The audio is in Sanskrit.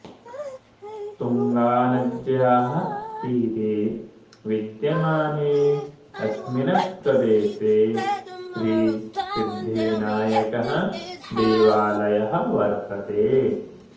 तुङ्गानद्याः तीरे विद्यमाने अस्मिन् प्रदेशे श्रीसिद्धिविनायकः देवालयः वर्तते